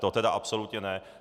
To tedy absolutně ne.